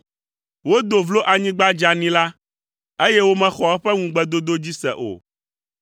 Wodo vlo anyigba dzeani la, eye womexɔ eƒe ŋugbedodo dzi se o.